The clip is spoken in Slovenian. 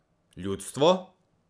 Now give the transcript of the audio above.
Ljudstvo?